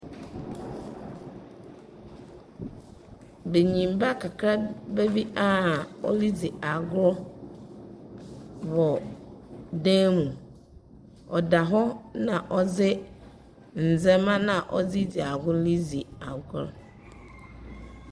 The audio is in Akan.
Banyinba kakraba bi aa ɔredzi agor wɔ dan mu. Ɔda hɔ na ɔdze ndzɛmba naa ɔdze dzi agor no dzi agor.